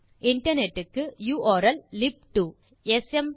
internet க்கு உர்ல்லிப்2